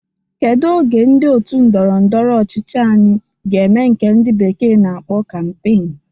Kedu oge ndị otu ndọrọ ndọrọ ọchịchị anyi ga-eme nke ndi bekee na-akpọ kampeen?